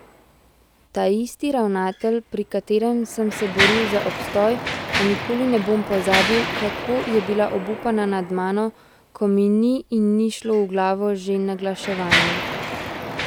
Taisti ravnatelj, pri katerem sem se boril za obstoj, a nikoli ne bom pozabil, kako je bila obupana nad mano, ko mi ni in ni šlo v glavo že naglaševanje.